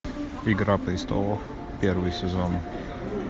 игра престолов первый сезон